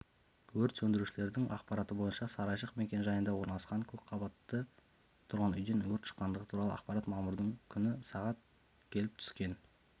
өрт сөндірушлердің ақпараты бойынша сарайшық мекенжайында орналасқан көпқабатты тұрғын үйден өрт шыққандығы туралы ақпарат мамырдың күні сағат келіп түскен